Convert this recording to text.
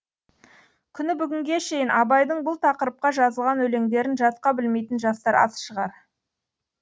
күні бүгінге шейін абайдың бұл тақырыпқа жазылған өлеңдерін жатқа білмейтін жастар аз шығар